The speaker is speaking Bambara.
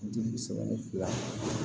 Dibi sɛbɛn ni fila